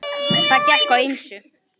Það gekk á ýmsu.